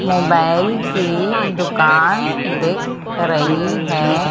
Mobile की दुकान दिख रही है।